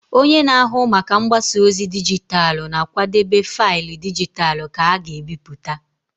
Onye na-ahụ maka mgbasa ozi dijitalụ na-akwadebe faịlụ dijitalụ ka a ga-ebipụta.